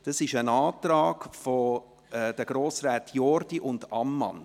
Es ist ein Antrag der Grossräte Jordi und Ammann.